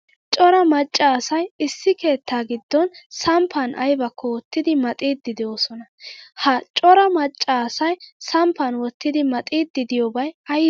Cora macca asay issi keettaa giddon samppan aybakko wottidi maxidi deosona. Ha cora macca asay samppan wottidi maxxiidi deiyobay aybe?